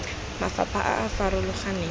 mafapha a a farologaneng mme